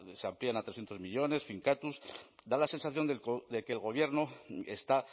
se amplían a trescientos millónes finkatuz da la sensación de que el gobierno está